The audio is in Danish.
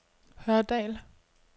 Hørdal